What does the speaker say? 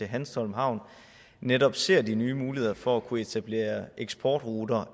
hanstholm havn netop ser de nye muligheder for at kunne etablere eksportruter